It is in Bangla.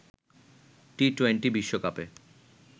টি-টোয়েন্টি বিশ্বকাপে